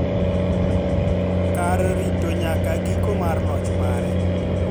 kar rito nyaka giko mar loch mare